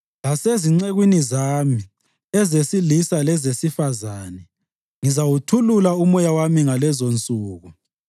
Lasezincekwini zami, ezesilisa lezesifazane, ngizawuthulula uMoya wami ngalezonsuku.